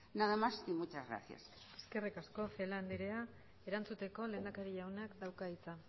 nada más y muchas gracias eskerrik asko celaá andrea erantzuteko lehendakari jaunak dauka hitza